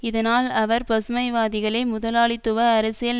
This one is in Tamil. இதனால் அவர் பசுமைவாதிகளை முதலாளித்துவ அரசியல்